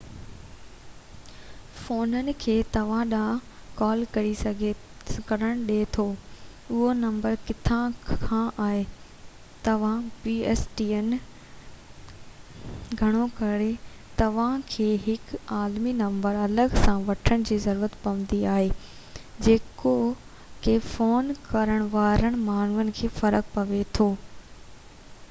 گهڻو ڪري توهان کي هڪ عالمي نمبر الڳ سان وٺڻ جي ضرورت پوندي آهي جيڪو pstn فونن کي توهان ڏانهن ڪال ڪرڻ ڏي ٿو اهو نمبر ڪٿان کان آهي توهان کي فون ڪرڻ وارن ماڻهن کي فرق پوي ٿو